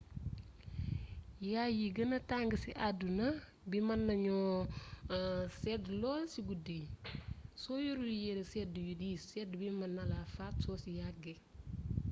yay yi gëna tàng ci àdduna bi mën nañu sedd lool ci guddi gi soo yorul yéere sedd yu diis sedd bi mën nala faat soo ci yàggee